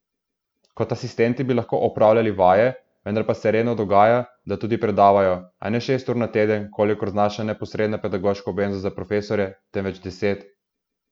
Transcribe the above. Kot asistenti bi lahko opravljali vaje, vendar pa se redno dogaja, da tudi predavajo, a ne šest ur na teden, kolikor znaša neposredna pedagoška obveznost za profesorje, temveč deset.